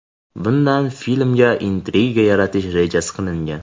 Bundan filmda intrigiya yaratish reja qilingan.